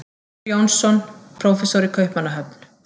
Finnur Jónsson, prófessor í Kaupmannahöfn.